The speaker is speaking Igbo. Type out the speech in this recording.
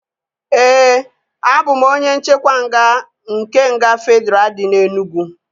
Ee, a bụ m onye nchekwa nga nke nga Fedraa dị na Enugwu